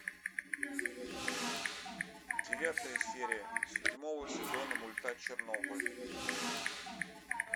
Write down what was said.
девятая серия седьмого сезона мульта чернобыль